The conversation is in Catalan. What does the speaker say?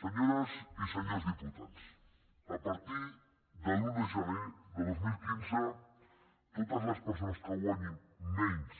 senyores i senyors diputats a partir de l’un de gener de dos mil quinze totes les persones que guanyin menys